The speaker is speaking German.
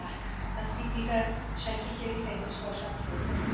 Ja, das sieht dieser schreckliche Gesetzesvorschlag vor.